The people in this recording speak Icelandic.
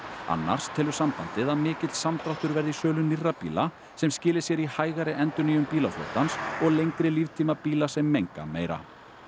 annars telur sambandið að mikill samdráttur verði í sölu nýrra bíla sem skili sér í hægari endurnýjun bílaflotans og lengri líftíma bíla sem menga meira